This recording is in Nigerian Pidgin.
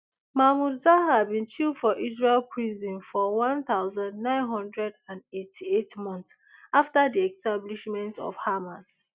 mahmoud zahar bin chill for israeli prisons for one thousand, nine hundred and eighty-eight months afta di establishment of hamas